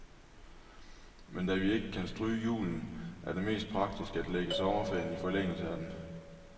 Men da vi ikke bare kan stryge julen, er det mest praktisk at lægge sommerferien i forlængelse af den.